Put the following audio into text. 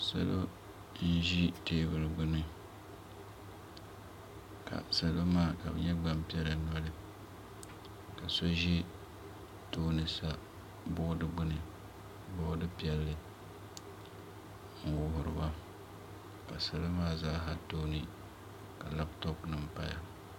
salo n-ʒi teebuli gbuni ka salo maa ka bɛ nyɛ gbampiɛla noli ka so ʒi tooni sa boori gbubi boori piɛlli n-wuhiri ba salo maa zaasa tooni ka lapitɔpunima paya